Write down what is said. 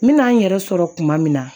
N bɛna n yɛrɛ sɔrɔ kuma min na